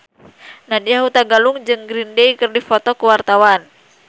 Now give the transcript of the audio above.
Nadya Hutagalung jeung Green Day keur dipoto ku wartawan